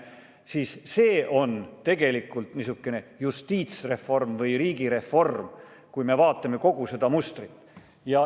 See kõik on tegelikult niisugune justiitsreform või riigireform, kui me vaatame kogu seda mustrit.